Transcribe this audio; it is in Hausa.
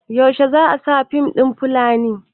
yaushe za a sa fim ɗin Fulani?